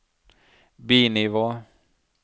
bi-nivå